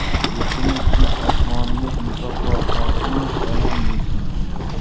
Yurtimiz tinch, osmonimiz musaffo, xalqimiz omon bo‘lsin!